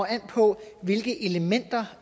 an på hvilke elementer